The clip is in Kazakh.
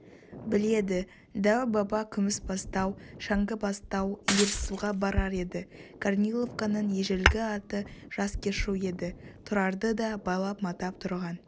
біледі дәу-баба күмісбастау шәңкібастау иірсуға барар еді корниловканың ежелгі аты жаскешу еді тұрарды да байлап-матап тұрған